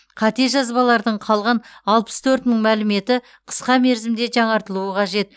қате жазбалардың қалған алпыс төрт мың мәліметі қысқа мерзімде жаңартылуы қажет